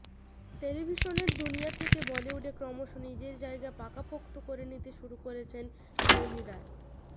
টেলিভিশনের দুনিয়া থেকে বলিউডে ক্রমশ নিজের জায়গা পাকাপোক্ত করে নিতে শুরু করেছেন মৌনি রায়